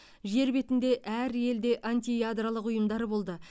жер бетінде әр елде антиядролық ұйымдар болды